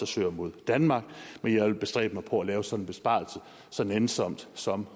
søger mod danmark men jeg vil bestræbe mig på at lave sådan en besparelse så nænsomt som